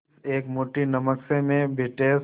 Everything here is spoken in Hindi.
इस एक मुट्ठी नमक से मैं ब्रिटिश